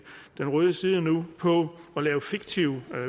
den røde side nu på at lave fiktive